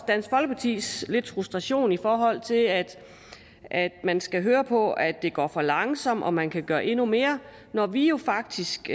dansk folkepartis frustration i forhold til at at man skal høre på at det går for langsomt og at man kan gøre endnu mere når vi jo faktisk